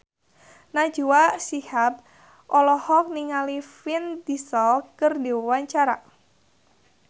Najwa Shihab olohok ningali Vin Diesel keur diwawancara